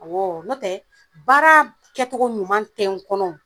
Awɔɔ nɔtɛ baara b kɛcogo ɲuman tɛ n kɔnɔ